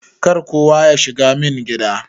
Kar kowa yashiga min gida.